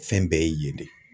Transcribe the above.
Fɛn bɛɛ ye yen de.